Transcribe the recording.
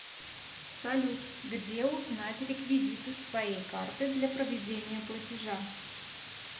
салют где узнать реквизиты своей карты для проведения платежа